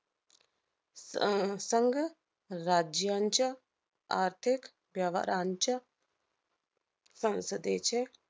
अह संघ राज्यांच्या आर्थिक व्यवहारांच्या संसदेचे